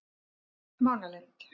Mánalind